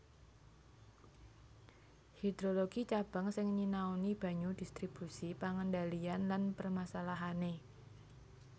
Hidrologi Cabang sing nyinaoni banyu distribusi pengendalian lan permasalahané